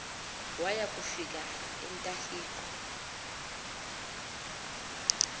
waya kufika entahiqo